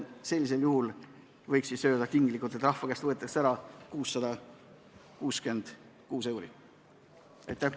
Sellisel juhul võiks tinglikult öelda, et rahva käest võetakse ära 666 eurot.